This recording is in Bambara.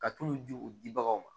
Ka tulu di u dibagaw ma